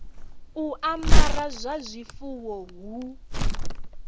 u amara ha zwifuwo hu